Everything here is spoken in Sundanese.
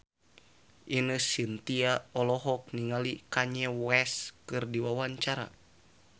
Ine Shintya olohok ningali Kanye West keur diwawancara